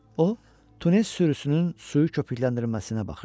O, tunes sürüsünün suyu köpükləndirməsinə baxırdı.